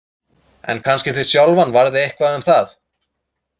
En kannski þig sjálfan varði eitthvað um það.